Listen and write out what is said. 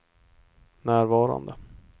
närvarande